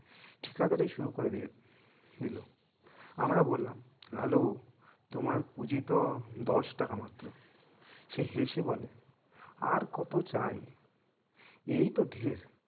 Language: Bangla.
ঠিকাদারী শুরু করে দিয়েছে দিলো আমরা বললাম লালু তোমার পুঁজি তো দশ টাকা মাত্র সে হেসে বলে আর কত চাই এই তো ঢের